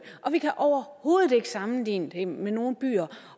og vi kan overhovedet ikke sammenligne det med nogen byer